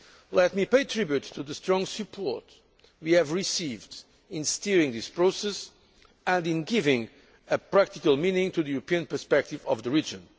Let me pay tribute to the strong support we have received in steering this process and in giving a practical meaning to the European prospects for the